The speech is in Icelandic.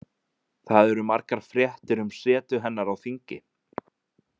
Það eru margar fréttir um setu hennar á þingi.